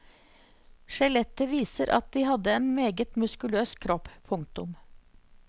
Skjelettet viser at de hadde en meget muskuløs kropp. punktum